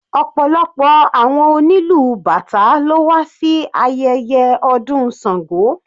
Ọ̀pọ̀lọpọ̀ àwọn onílù bàtá ló wà sí ayẹyẹ ọdún Sango.